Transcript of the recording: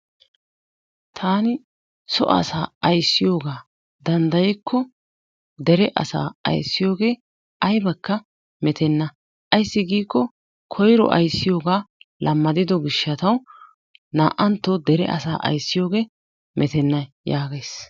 Taani so asaa aysiyogaa danddayikko dere asaa aysiyogee aynnekka mettena ayssi giikko koyro aysiyogaa lammaddido gishshatawu naa"antto dere asaa aysiyogee metena yaagays.